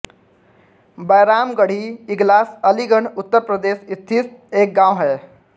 बैराम गढ़ी इगलास अलीगढ़ उत्तर प्रदेश स्थित एक गाँव है